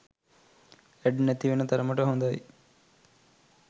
add නැති වෙන තරමට හොඳයි